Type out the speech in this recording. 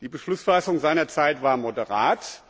Die Beschlussfassung seinerzeit war moderat.